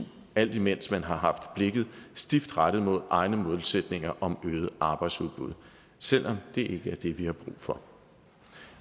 alt imens man har haft blikket stift rettet mod egne målsætninger om øget arbejdsudbud selv om det ikke er det vi har brug for